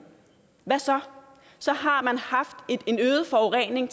hvad så så har man haft en øget forurening